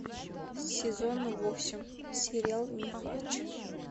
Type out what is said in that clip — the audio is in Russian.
сезон восемь сериал нюхач